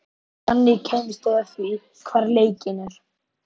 Þannig kæmust þeir að því, hvar lekinn er.